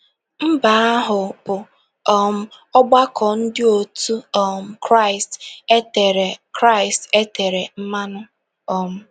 Mba ahụ bụ um ọgbakọ Ndị òtù um Kraịst e tere Kraịst e tere mmanụ. um